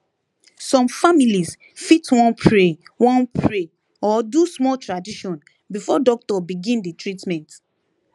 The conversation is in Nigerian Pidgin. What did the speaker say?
some families fit wan pray wan pray or do small tradition before doctor begin the treatment